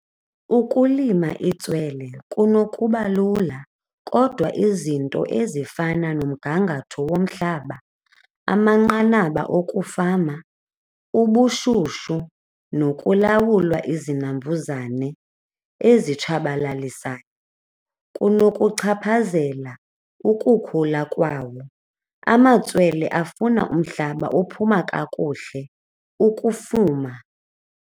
Ukulima itswele kunokuba lula kodwa izinto ezifana nomgangatho womhlaba, amanqanaba okufama, ubushushu nokulawulwa izinambuzane ezitshabalalisayo kunokuchaphazela ukukhula kwawo. Amatswele afuna umhlaba ophuma kakuhle ukufuma.